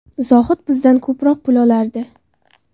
Zohid bizdan ko‘proq pul olardi.